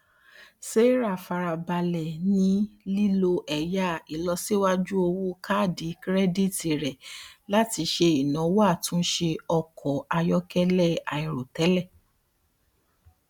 sarah fara balẹ ni lilo ẹya ilosiwaju owo kaadi kirẹditi rẹ lati ṣe inawo atunṣe ọkọ ayọkẹlẹ airotẹlẹ